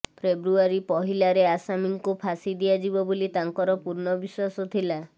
ଫେବୃଆରୀ ପହିଲାରେ ଆସାମୀଙ୍କୁ ଫାଶୀ ଦିଆଯିବ ବୋଲି ତାଙ୍କର ପୂର୍ଣ୍ଣ ବିଶ୍ୱାସ ଥିଲା